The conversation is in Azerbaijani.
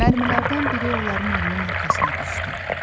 Mərmilərdən biri onların evinin arxasına düşdü.